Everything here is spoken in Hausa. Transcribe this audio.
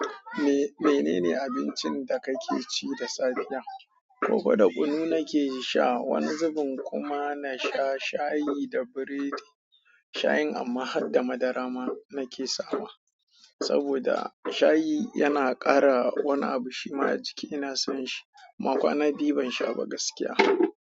Menene abincin da kake ci da safe da? Koka da kunu nake sha, wani zubin kuma na sha shayi da biredi. Shayin amma harda madara ma nake sawa. Saboda shayi yana ƙara wani abu shi ma a jiki ina son shi. Ban ƙwana biyu ban sha ba gaskiya.